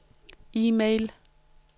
e-mail